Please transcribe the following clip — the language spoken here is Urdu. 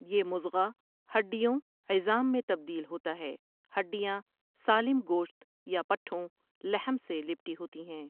یہ مضغہ ہڈیوں عظام میں تبدیل ہوتاہے ہڈیاں سالم گوشت یا پٹھوں لحم سے لپٹی ہوتی ہیں ۔